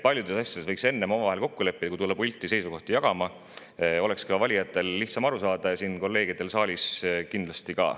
Võiks omavahel asjades kokku leppida, enne kui tulla pulti seisukohti jagama, siis oleks lihtsam aru saada valijatel ja kolleegidel siin saalis kindlasti ka.